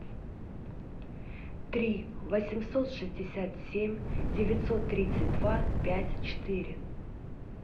три восемьсот шестьдесят семь девятьсот тридцать два пять четыре